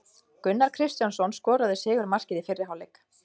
Gunnar Kristjánsson skoraði sigurmarkið í fyrri hálfleik.